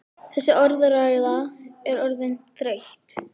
Þessi orðræða er orðin þreytt!